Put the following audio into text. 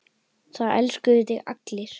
Það elskuðu þig allir.